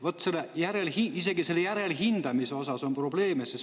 Vot isegi selle järelhindamise osas on probleeme.